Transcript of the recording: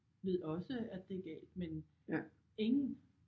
Ved også at det er galt men ingen